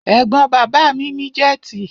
Ẹ̀gbọ́n bàbá mi ní jẹ́tì.